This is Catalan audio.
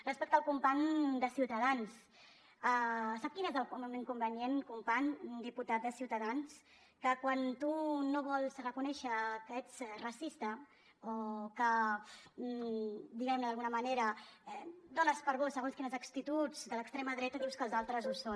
respecte al company de ciutadans sap quin és l’inconvenient company diputat de ciutadans que quan tu no vols reconèixer que ets racista o que diguem ne d’alguna manera dones per bones segons quines actituds de l’extrema dreta dius que els altres ho són